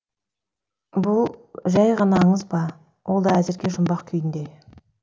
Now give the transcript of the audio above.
бұл жәй ғана аңыз ба ол да әзірге жұмбақ күйінде